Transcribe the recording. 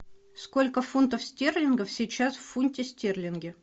сколько фунтов стерлингов сейчас в фунте стерлинге